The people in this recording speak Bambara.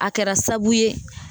A kɛra saabu ye